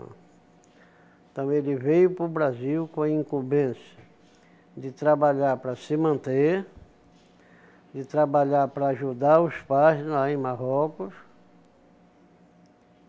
Então ele veio para o Brasil com a incumbência de trabalhar para se manter, de trabalhar para ajudar os pais lá em Marrocos.